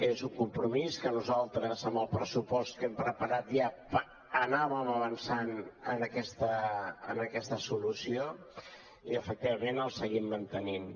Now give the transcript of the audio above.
és un compromís que nosaltres en el pressupost que hem preparat ja anàvem avançant en aquesta solució i efectivament el seguim mantenint